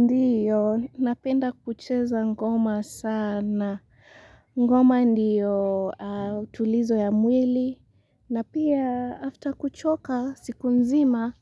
Ndiyo, napenda kucheza ngoma sana. Ngoma ndiyo tulizo ya mwili. Na pia, after kuchoka, siku nzima,